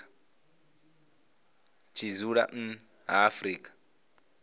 tshi dzula nnḓa ha afrika